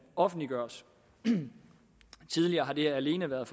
offentliggøres tidligere har det alene været